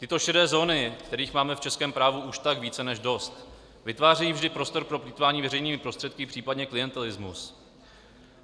Tyto šedé zóny, kterých máme v českém právu už tak více než dost, vytvářejí vždy prostor pro plýtvání veřejnými prostředky, případně klientelismus.